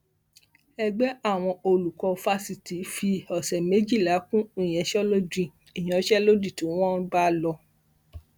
ẹgbẹ àwọn olùkọ fásitì fi ọsẹ méjìlá kún ìyanṣẹlódì ìyanṣẹlódì tí wọn ń bá lò